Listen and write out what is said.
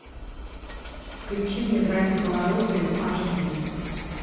включи мне братья по оружию аш ди